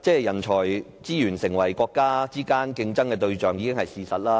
人力資源成為國家之間的競爭對象，這已是既定事實。